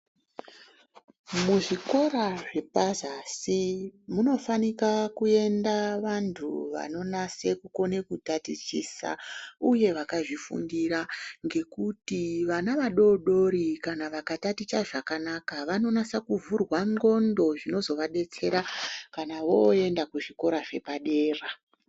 Muzvikora zvepazasi munofanika kuenda vantu vanonase kugone kutatichisa uye vakazvifundira ngekuti vana vadodori kana vakataticha zvakanaka vanonyatsa kuvhurwa ndondo zvinozovadetsera kana voenda kuzvikora zvepadera.